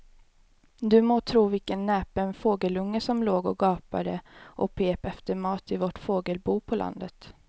Du må tro vilken näpen fågelunge som låg och gapade och pep efter mat i vårt fågelbo på landet.